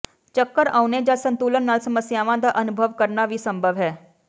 ਚੱਕਰ ਆਉਣੇ ਜਾਂ ਸੰਤੁਲਨ ਨਾਲ ਸਮੱਸਿਆਵਾਂ ਦਾ ਅਨੁਭਵ ਕਰਨਾ ਵੀ ਸੰਭਵ ਹੈ